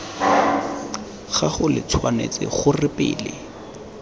gago lo tshwanetse gore pele